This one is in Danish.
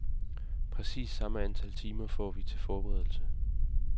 Præcis samme antal timer får vi til forberedelse.